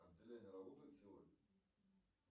отделение работает сегодня